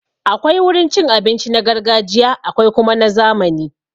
Akwai wurin cin abinci na gargajiya akwai kuma na zamani.